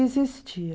existia.